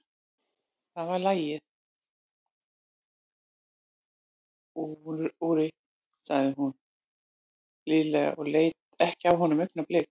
Það var lagið, Úri, sagði hún blíðlega og leit ekki af honum augnablik.